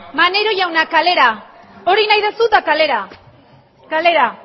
maneiro jauna kalera hori nahi duzu eta kalera kalera